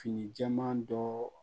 Fini jɛman dɔ